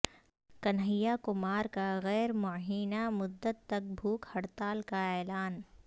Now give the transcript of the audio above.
کنہیا کمار کا غیر معینہ مدت تک بھوک ہڑتال کا اعلان